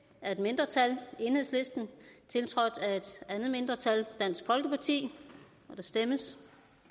af et mindretal tiltrådt af et andet mindretal og der kan stemmes